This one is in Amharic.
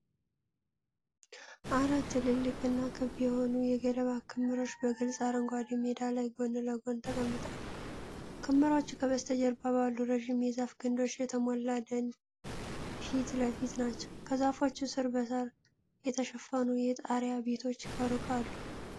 አራት ትልልቅ እና ክብ የሆኑ የገለባ ክምሮች በግልጽ አረንጓዴ ሜዳ ላይ ጎን ለጎን ተቀምጠዋል። ክምሮቹ ከበስተጀርባ ባሉ ረጅም የዛፍ ግንዶች የተሞላ ደን ፊት ለፊት ናቸው። ከዛፎች ስር በሳር የተሸፈኑ የጣሪያ ቤቶች ከሩቅ አሉ።